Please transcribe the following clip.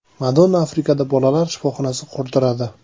Madonna Afrikada bolalar shifoxonasi qurdiradi.